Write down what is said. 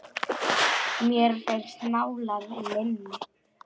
Mér finnst mál að linni.